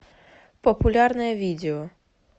популярное видео